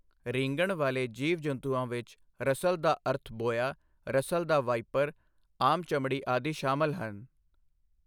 ਰੀਂਗਣ ਵਾਲੇ ਜੀਵ ਜੰਤੂਆਂ ਵਿੱਚ ਰਸਲ ਦਾ ਅਰਥ ਬੋਆ, ਰਸਲ ਦਾ ਵਾਈਪਰ, ਆਮ ਚਮੜੀ ਆਦਿ ਸ਼ਾਮਲ ਹਨ।